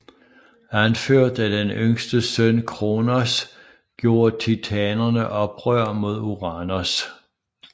Anført af den yngste søn Kronos gjorde titanerne oprør mod Uranos